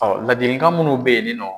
laadilikan munnu bɛ ye nin nɔ.